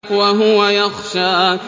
وَهُوَ يَخْشَىٰ